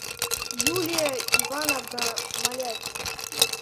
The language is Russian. юлия ивановна малявина